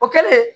O kɛlen